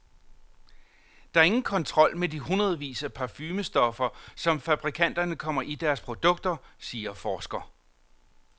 Der er ingen kontrol med de hundredvis af parfumestoffer, som fabrikanterne kommer i deres produkter, siger forsker.